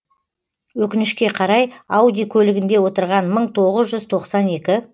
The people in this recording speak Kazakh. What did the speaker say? өкінішке қарай ауди көлігінде отырған мың тоғыз жүз тоқсан екі